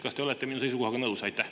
Kas te olete minu seisukohaga nõus?